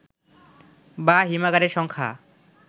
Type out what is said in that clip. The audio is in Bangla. বা হিমাগারের সংখ্যা